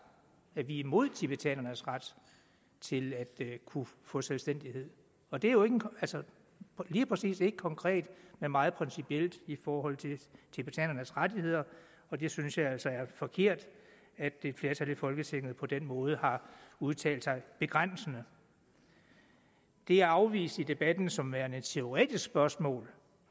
at vi er imod tibetanernes ret til at kunne få selvstændighed og det er jo lige præcis ikke konkret men meget principielt i forhold til tibetanernes rettigheder og der synes jeg altså det er forkert at et flertal i folketinget på den måde har udtalt sig begrænsende det er afvist i debatten som værende et teoretisk spørgsmål